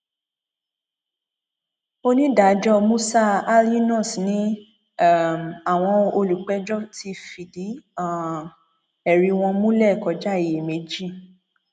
onídàájọ musa alyinus ni um àwọn olùpẹjọ ti fìdí um ẹrí wọn múlẹ kọjá iyèméjì